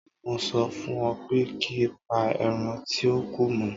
Mo sọ fún ọ pé ki pa ẹran tíó kù mọ́.